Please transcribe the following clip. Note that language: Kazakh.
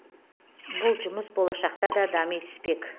бұл жұмыс болашақта да дами түспек